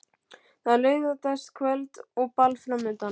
Það er laugardagskvöld og ball framundan.